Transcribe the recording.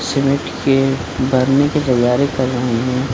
Cement के भरने के तैयारी कर रहे हैं।